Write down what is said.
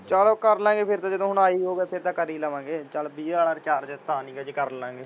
ਚਲੋ ਕਰ ਲਾਂ ਗੇ ਫੇਰ ਕਦੇ ਜਦੋਂ ਆਏ ਹੀ ਹੋਗਾ ਫੇਰ ਤਾਂ ਕਰ ਹੀ ਲਵਾਂਗੇ। ਚੱਲ ਵੀਹ ਵਾਲਾ ਰਿਚਾਰਜ ਤਾਂ ਨਹੀ ਅਜੇ ਕਰ ਲਾਂ ਗੇ।